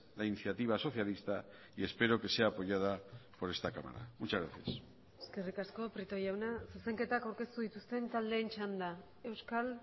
la iniciativa socialista y espero que sea apoyada por esta cámara muchas gracias eskerrik asko prieto jauna zuzenketak aurkeztu dituzten taldeen txanda euskal